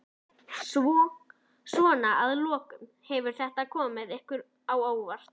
Jón: Svona að lokum, hefur þetta komið ykkur á óvart?